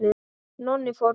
Nonni fór með okkur.